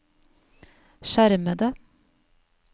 skjermede